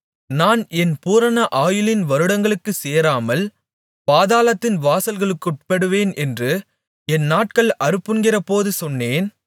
நான் என் பூரண ஆயுளின் வருடங்களுக்குச் சேராமல் பாதாளத்தின் வாசல்களுக்குட்படுவேன் என்று என் நாட்கள் அறுப்புண்கிறபோது சொன்னேன்